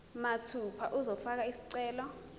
mathupha uzofaka isicelo